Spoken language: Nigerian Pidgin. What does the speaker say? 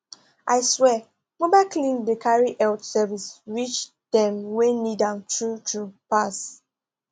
i swear mobile clinic dey carry health service reach dem wey need am true true pass